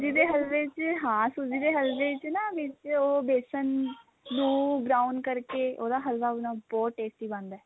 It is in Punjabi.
ਸੂਜੀ ਦੇ ਹਲਵੇ ਚ ਹਾਂ ਸੂਜੀ ਦੇ ਹਲਵੇ ਚ ਨਾ means ਉਹ ਬੇਸਨ ਨੂੰ brown ਕਰਕੇ ਉਹਦਾ ਹਲਵਾ ਨਾ ਬਹੁਤ tasty ਬਣਦਾ